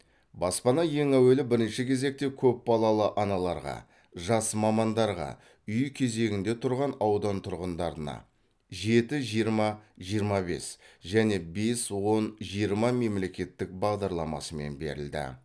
баспана ең әуелі бірінші кезекте көпбалалы аналарға жас мамандарға үй кезегінде тұрған аудан тұрғындарына жеті жиырма жиырма бес және бес он жиырма мемлекеттік бағдарламасымен берілді